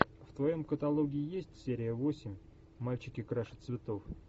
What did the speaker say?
в твоем каталоге есть серия восемь мальчики краше цветов